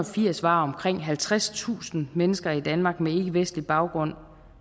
firs var omkring halvtredstusind mennesker i danmark med ikkevestlig baggrund